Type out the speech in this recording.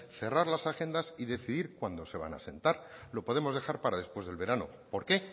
cerrar las agendas y decidir cuándo se van a sentar lo podemos dejar para después del verano por qué